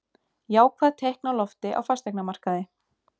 Jákvæð teikn á lofti á fasteignamarkaði